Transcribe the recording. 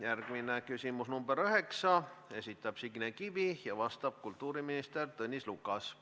Järgmine küsimus, number 9: esitab Signe Kivi ja vastab kultuuriminister Tõnis Lukas.